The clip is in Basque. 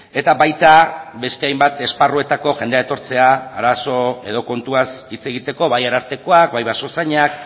eta baita beste hainbat esparruetako jendea etortzea arazo edo kontuaz hitz egiteko bai arartekoak bai basozainak